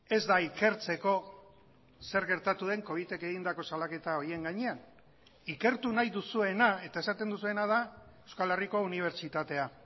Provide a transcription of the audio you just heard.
ez da ikertzeko zer gertatu den covitek egindako salaketa horien gainean ikertu nahi duzuena eta esaten duzuena da euskal herriko unibertsitatea